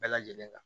Bɛɛ lajɛlen kan